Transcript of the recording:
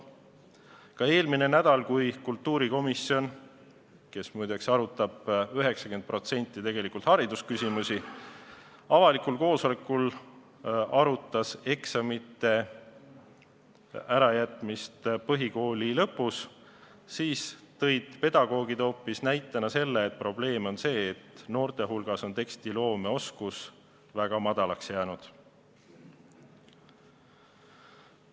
Ka eelmine nädal, kui kultuurikomisjon, kes muide 90% ulatuses arutab tegelikult haridusküsimusi, arutas avalikul koosolekul eksamite ärajätmist põhikooli lõpus, tõid pedagoogid probleemi näitena esile hoopis selle, et noorte hulgas on tekstiloomeoskus väga väheseks jäänud.